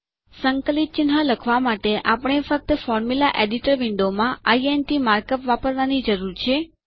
સંકલિત ચિન્હ લખવાં માટે આપણે ફક્ત સુત્ર સંપાદક વિન્ડોફોર્મ્યુલા એડીટર વિન્ડોમાં ઇન્ટ માર્ક અપ વાપરવાંની જરૂર છે